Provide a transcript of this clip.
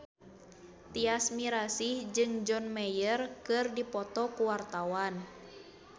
Tyas Mirasih jeung John Mayer keur dipoto ku wartawan